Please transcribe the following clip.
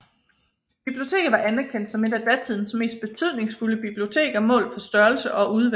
Biblioteket var anerkendt som et af datidens mest betydningsfulde biblioteker målt på størrelse og udvalg